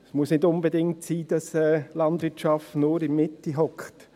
Es muss nicht unbedingt sein, dass Landwirtschaft nur in der Mitte hockt.